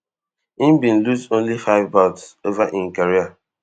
e bin lose only five bouts over im career